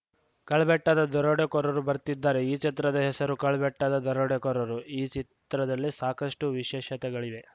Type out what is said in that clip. ಕಳ್ಬೆಟ್ಟದ ದರೋಡೆಕೋರರು ಬರ್ತಿದಾರೆ ಈ ಚಿತ್ರದ ಹೆಸರು ಕಳ್ಳಬೆಟ್ಟದ ದರೋಡೆಕೋರರು ಈ ಚಿತ್ರದಲ್ಲಿ ಸಾಕಷ್ಟುವಿಶೇಷತೆಗಳಿವೆ